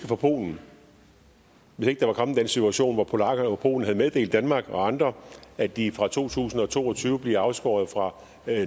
fra polen og hvis ikke den situation var polakkerne og polen havde meddelt danmark og andre at de fra to tusind og to og tyve bliver afskåret fra